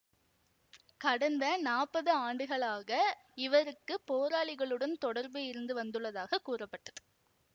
கடந்த நாற்பது ஆண்டுகளாக இவருக்கு போராளிகளுடன் தொடர்பு இருந்து வந்துள்ளதாக கூறப்பட்டது